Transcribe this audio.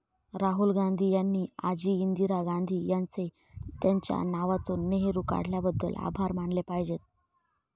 राहुल गांधी यांनी आजी इंदिरा गांधी यांचे त्यांच्या नावातून नेहरु काढल्याबद्दल आभार मानले पाहिजेत.